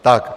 Tak.